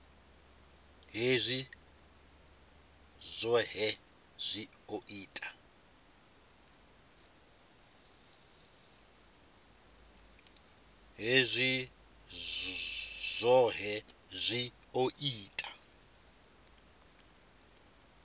hezwi zwohe zwi o ita